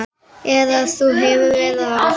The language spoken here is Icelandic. Eða þú hefur verra af